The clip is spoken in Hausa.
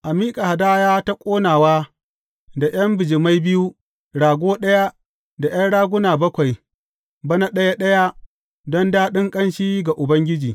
A miƙa hadaya ta ƙonawa da ’yan bijimai biyu, rago ɗaya da ’yan raguna bakwai, bana ɗaya ɗaya don daɗin ƙanshi ga Ubangiji.